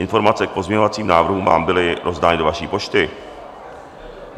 Informace k pozměňovacím návrhům vám byly rozdány do vaší pošty.